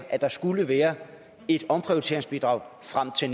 at der skulle være et omprioriteringsbidrag frem til